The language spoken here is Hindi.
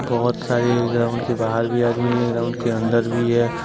बहुत सारे ग्राउंड के बाहर भी आदमी है ग्राउंड के अंदर भी हैं।